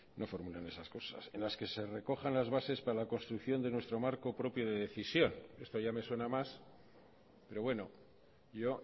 no formulan esas cosas en las que se recojan las bases para la construcción de nuestro marco propio de decisión esto ya me suena más pero bueno yo